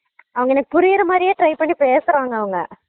அவங்க எனக்கு புரியுற மாறியே try பண்ணி பேசுறாங்க அவங்க